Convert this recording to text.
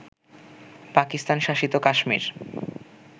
পাকিস্তান-শাসিত Kashmir